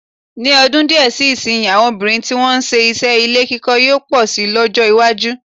Ní ọdún díè sí ìsìnyí, àwọn obìnrin tí wọ́n ń se iṣẹ́ ilé-kíkọ́ yóò pọ̀ si lọ́jọ́-iwájú.